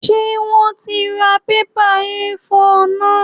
Ṣé wón ti ra bébà A5 náà?